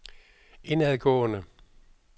indadgående